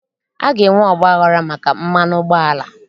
A ga-enwe ọgbaghara maka mmanụ ụgbọala